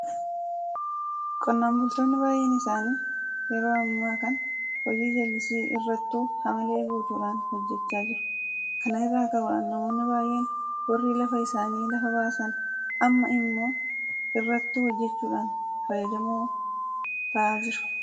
Qonnaan bultoonni baay'een isaanii yeroo amma kana hojii jallisii irrattu haamilee guutuudhaan hojjechaa jiru. Kana irraa ka'uudhaan namoonni baay'een warri lafa isaanii lafa baasan amma immoo irrattu hojjechuudhaan fayyadamoo ta'aa jiru.